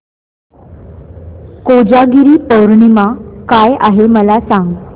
कोजागिरी पौर्णिमा काय आहे मला सांग